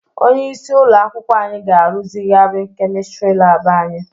Onyeisi ụlọ akwụkwọ anyị ga-arụzigharị kemistrị lab anyị.